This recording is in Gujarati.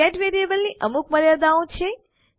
ગેટ વેરીએબલની અમુક મર્યાદાઓ છે